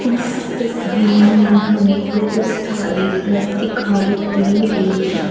इस तस्वीर में हमें बहुत सारे घर दिखाई दे रही हैं।